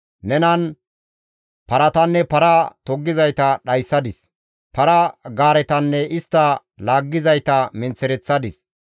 Nenan paratanne para toggizayta dhayssadis; para-gaaretanne istta laaggizayta menththereththadis.